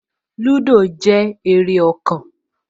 Lúdò jẹ́ eré ọkàn